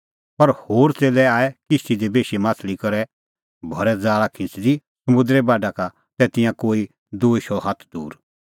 पर होर च़ेल्लै आऐ किश्ती दी बेशी माह्छ़ली करै भरै ज़ाल़ा खिंच़दी समुंदरे बाढा का तै तिंयां कोई दूई शौ हाथ दूर